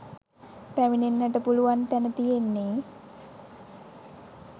පැමිණෙන්ට පුළුවන් තැන තියෙන්නෙ.